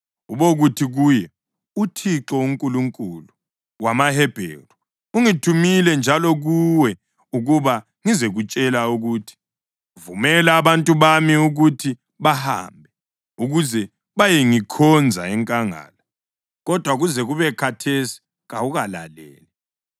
Ubokuthi kuye, ‘ uThixo, uNkulunkulu wamaHebheru ungithumile njalo kuwe ukuba ngizekutshela ukuthi: Vumela abantu bami ukuthi bahambe, ukuze bayengikhonza enkangala. Kodwa kuze kube khathesi kawukalaleli.